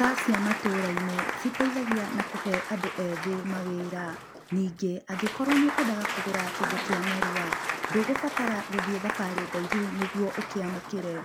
Nduka cia matũra-inĩ citeithagia na kũhe andũ ethi mawĩra. Ningĩ, angĩkorwo nĩ ũkwendaga kũgũra kĩndũ kĩa narua, ndũgũbatara gũthiĩ thabarĩ ndaihu nĩgwo ũkĩamũkĩre.